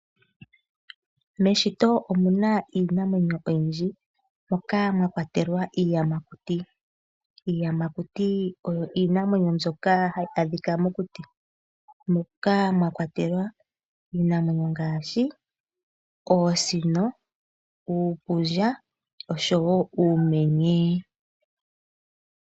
Meshito omuna iinamwenyo oyindji moka mwa kwatelwa iiyamakuti. Iiyamakuti oyo iinamwenyo mbyoka hayi adhika mokuti, moka mwa kwatelwa iinamwenyo ngaashi oosino, uupundja oshowo uumenye.